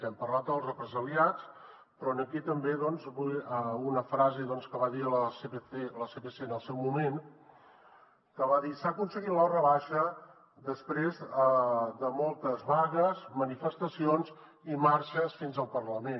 hem parlat dels represaliats però aquí també volia dir una frase que va dir el sepc en el seu moment s’ha aconseguit la rebaixa després de moltes vagues manifestacions i marxes fins al parlament